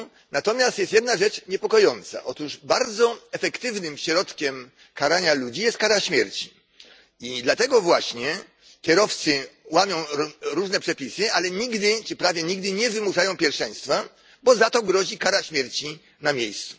Natomiast jest jedna rzecz niepokojąca, otóż bardzo efektywnym środkiem karania ludzi jest kara śmierci, i dlatego właśnie kierowcy łamią różne przepisy, ale nigdy czy prawie nigdy nie wymuszają pierwszeństwa, bo za to grozi kara śmierci na miejscu.